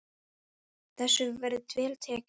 Þessu hefur verið vel tekið.